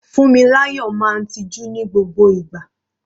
Funmilayo máa ń tiju ní gbogbo ìgbà.